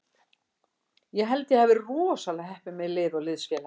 Ég held að ég hafi verið rosalega heppinn með lið og liðsfélaga.